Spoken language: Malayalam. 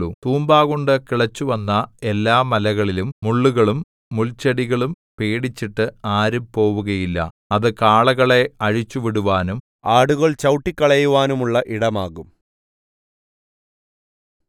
തൂമ്പാകൊണ്ടു കിളച്ചുവന്ന എല്ലാമലകളിലും മുള്ളുകളും മുൾച്ചെടികളും പേടിച്ചിട്ട് ആരും പോവുകയില്ല അത് കാളകളെ അഴിച്ചുവിടുവാനും ആടുകൾ ചവിട്ടിക്കളയുവാനുമുള്ള ഇടമാകും